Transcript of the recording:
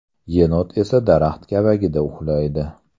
Yenot esa daraxt kavagida uxlaydi.